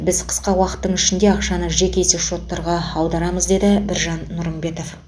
біз қысқа уақыттың ішінде ақшаны жеке есепшоттарға аударамыз деді біржан нұрымбетов